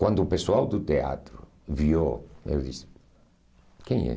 Quando o pessoal do teatro viu, eu disse, quem é?